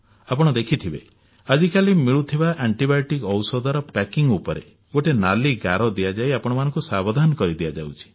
ଆପଣ ଦେଖିଥିବେ ଆଜି ମିଳୁଥିବା ଆଣ୍ଟିବାୟୋଟିକ୍ ଔଷଧର ପ୍ୟାକିଂ ଉପରେ ଗୋଟିଏ ନାଲି ଗାର ଦିଆଯାଇ ଆପଣମାନଙ୍କୁ ସାବଧାନ କରିଦିଆଯାଉଛି